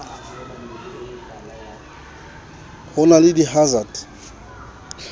ho na le di hansard